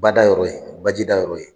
Ba da yɔrɔ ye baji da yɔrɔ ye.